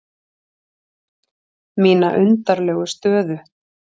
Mína undarlegu stöðu.